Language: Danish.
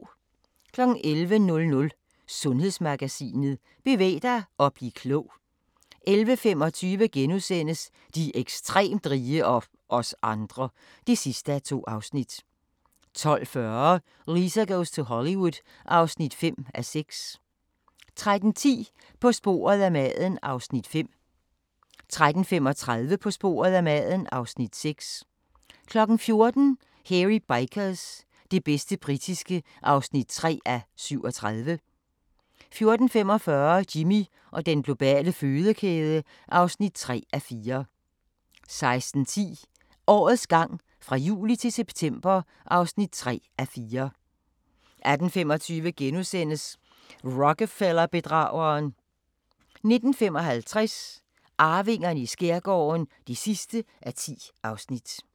11:00: Sundhedsmagasinet: Bevæg dig og bliv klog 11:25: De ekstremt rige – og os andre (2:2)* 12:40: Lisa goes to Hollywood (5:6) 13:10: På sporet af maden (Afs. 5) 13:35: På sporet af maden (Afs. 6) 14:00: Hairy Bikers – det bedste britiske (3:37) 14:45: Jimmy og den globale fødekæde (3:4) 16:10: Årets gang fra juli til september (3:4) 18:25: Rockefeller-bedrageren * 19:55: Arvingerne i skærgården (10:10)